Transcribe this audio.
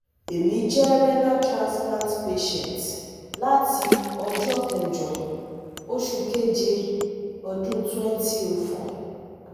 emi je renal transplant patient lati ojo kejo osu keje odun twenty o four